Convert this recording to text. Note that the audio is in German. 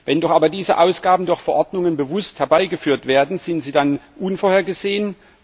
Wenn doch aber diese Ausgaben durch Verordnungen bewusst herbeigeführt werden, sind sie dann unvorhergesehen?